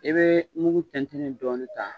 I bɛ mugu tɛntɛnnen dɔɔni ta.